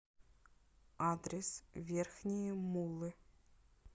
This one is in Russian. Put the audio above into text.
адрес верхние муллы